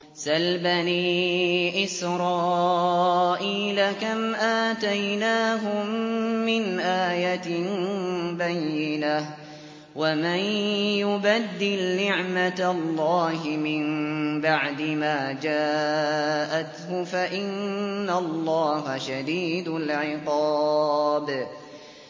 سَلْ بَنِي إِسْرَائِيلَ كَمْ آتَيْنَاهُم مِّنْ آيَةٍ بَيِّنَةٍ ۗ وَمَن يُبَدِّلْ نِعْمَةَ اللَّهِ مِن بَعْدِ مَا جَاءَتْهُ فَإِنَّ اللَّهَ شَدِيدُ الْعِقَابِ